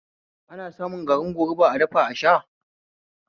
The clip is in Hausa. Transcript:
Ana samun garin goruba a dafa a sha